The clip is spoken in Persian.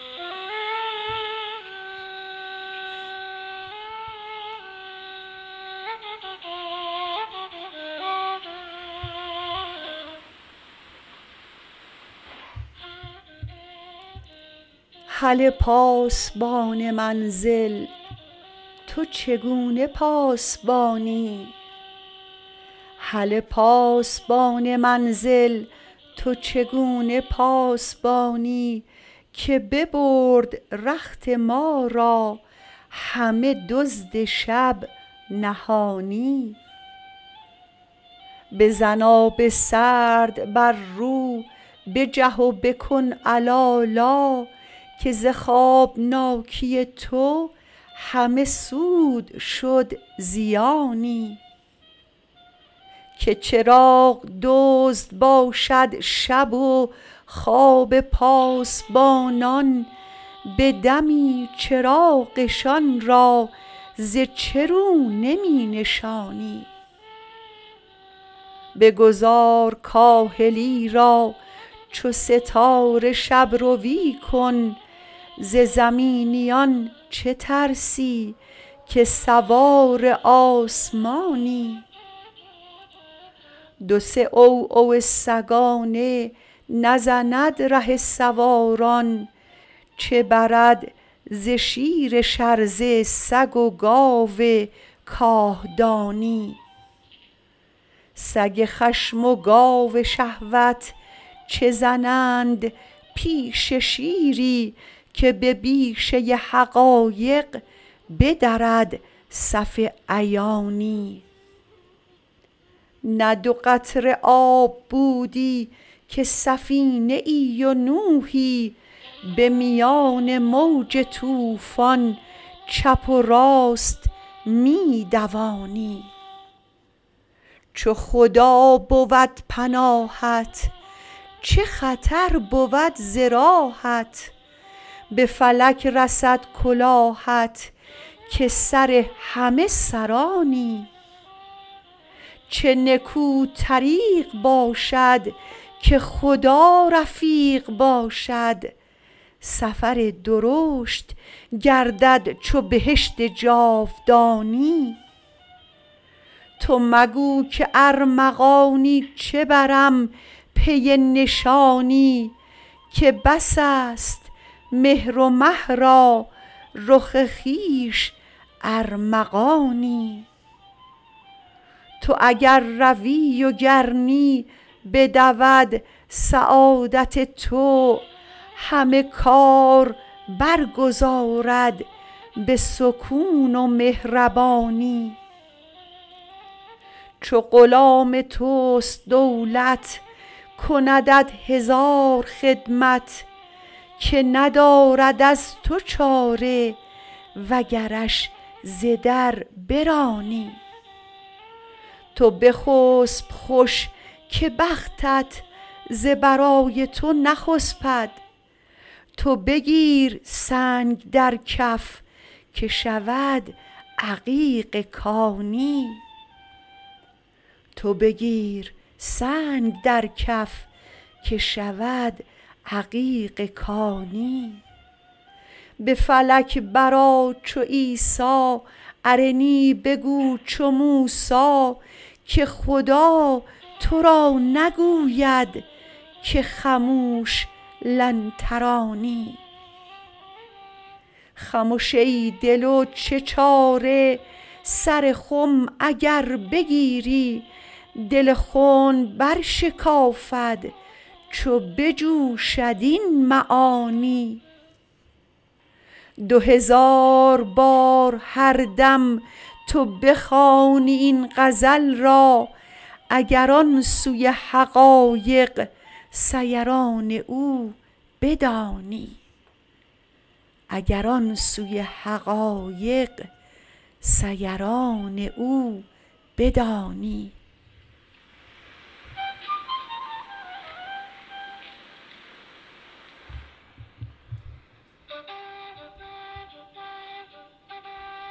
هله پاسبان منزل تو چگونه پاسبانی که ببرد رخت ما را همه دزد شب نهانی بزن آب سرد بر رو بجه و بکن علالا که ز خوابناکی تو همه سود شد زیانی که چراغ دزد باشد شب و خواب پاسبانان به دمی چراغشان را ز چه رو نمی نشانی بگذار کاهلی را چو ستاره شب روی کن ز زمینیان چه ترسی که سوار آسمانی دو سه عوعو سگانه نزند ره سواران چه برد ز شیر شرزه سگ و گاو کاهدانی سگ خشم و گاو شهوت چه زنند پیش شیری که به بیشه حقایق بدرد صف عیانی نه دو قطره آب بودی که سفینه ای و نوحی به میان موج طوفان چپ و راست می دوانی چو خدا بود پناهت چه خطر بود ز راهت به فلک رسد کلاهت که سر همه سرانی چه نکو طریق باشد که خدا رفیق باشد سفر درشت گردد چو بهشت جاودانی تو مگو که ارمغانی چه برم پی نشانی که بس است مهر و مه را رخ خویش ارمغانی تو اگر روی و گر نی بدود سعادت تو همه کار برگزارد به سکون و مهربانی چو غلام توست دولت کندت هزار خدمت که ندارد از تو چاره وگرش ز در برانی تو بخسپ خوش که بختت ز برای تو نخسپد تو بگیر سنگ در کف که شود عقیق کانی به فلک برآ چو عیسی ارنی بگو چو موسی که خدا تو را نگوید که خموش لن ترانی خمش ای دل و چه چاره سر خم اگر بگیری دل خنب برشکافد چو بجوشد این معانی دو هزار بار هر دم تو بخوانی این غزل را اگر آن سوی حقایق سیران او بدانی